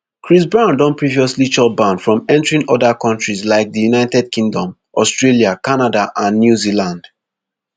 chris brown don previously chop ban from entering oda kontris like di united kingdom australia canada and new zealand